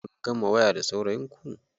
Kun gama waya da saurayin ku?